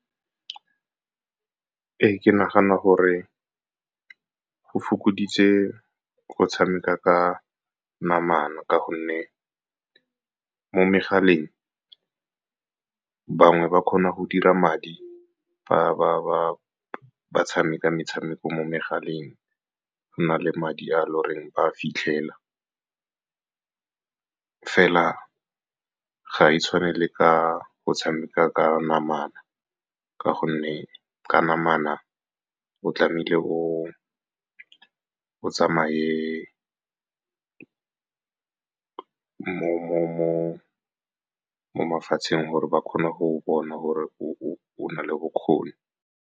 Ee, ke nagana gore go fokoditse go tshameka ka namana ka gonne mo megaleng bangwe ba kgona go dira madi ba tshameka metshameko mo megaleng, go na le madi a lo reng ba fitlhela fela. Ga e tshwane le ka go tshameka ka namana ka gonne ka namana o tlamehile o tsamaye mo mafatsheng gore ba kgone go bona gore o na le bokgoni.